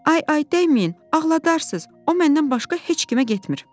Ay, ay dəyməyin, ağladarsız, o məndən başqa heç kimə getmir.